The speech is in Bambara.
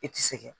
I tɛ se kɛ